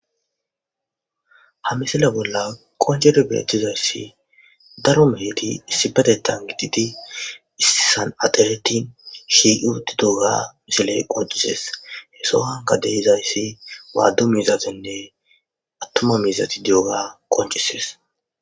Ha misile bolla woncidi netizaysi faro meheti issopeteuhan gididi issisan axireti shiiqi uttidoga ja mosiley qoncises he sohuwanka de'iyobay wada miizatinne attuma miizati diyoga qoncises.